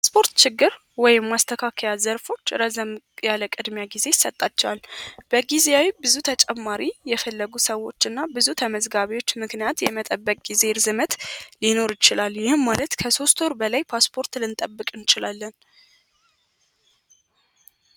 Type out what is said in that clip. የፓስፖርት ችግር ወይም ማስተካከያ ዘርፎች ረዘም ያለ ቅድሚያ ጊዜ ይሰጣችኋል። በጊዜያዊ ብዙ ተጨማሪ የፈለጉ ሰዎች እና ብዙ ተመዝጋቢዎች ምክንያት የመጠበቅ ጊዜ ርዝመት ሊኖር ይችላል። ይህም ማለት ከ3 ወር በላይ ፓስፖርት ልንጠብቅ እንችላለን።